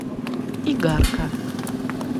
игарка